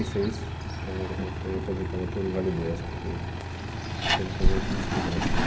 E seis, ela ela foi aposentada por invalidez, porque ela teve um problema físico no coração.